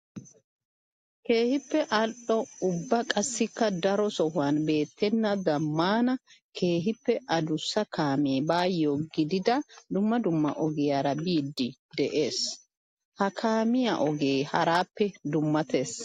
Keehippe ali'o ubba qassikka daro sohuwan beetenna zamaana keehippe adussa kaame baayo giiggidda dumma dumma ogiyara biide de'ees. Ha kaamiya ogee harappe dumatees.